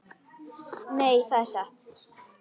Nei, það er satt.